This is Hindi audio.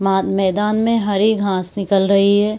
माद मैदान में हरी घास निकल रही है।